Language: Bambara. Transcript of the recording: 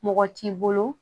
Mɔgɔ t'i bolo